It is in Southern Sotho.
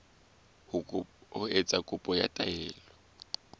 ho etsa kopo ya taelo